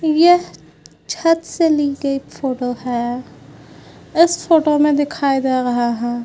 यह छत से ली गई फोटो है। इस फोटो में दिखाया गया है।